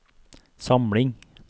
samling